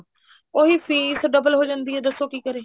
ਉਹੀ fees double ਹੋ ਜਾਂਦੀ ਆ ਬੰਦਾ ਕੀ ਕਰੇ